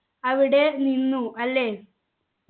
അവിടെ നിന്നു അല്ലെ